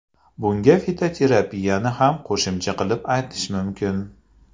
Bunga fitoterapiyani ham qo‘shimcha qilib aytish mumkin.